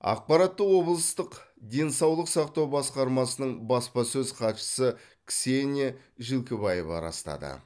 ақпаратты облыстық денсаулық сақтау басқармасының баспасөз хатшысы ксения жилкибаева растады